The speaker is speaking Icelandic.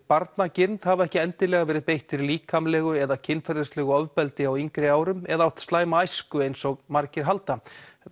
barnagirnd hafa ekki endilega verið beittir líkamlegu eða kynferðislegu ofbeldi á yngri árum eða átt slæma æsku eins og margir halda